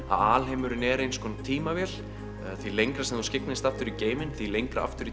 alheimurinn er eins konar tímavél því lengra sem þú skygnist aftur í geiminn því lengra aftur